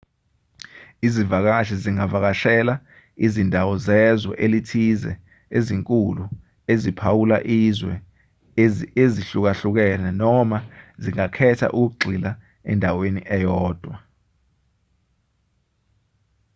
izivakashi zingavakashela izindawo zezwe elithize ezinkulu eziphawula izwe ezihlukahlukene noma zingakhetha ukugxila endaweni eyodwa